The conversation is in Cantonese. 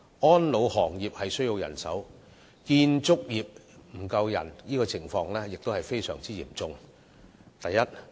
安老行業人手短缺，建築業的人手短缺情況也相當嚴重。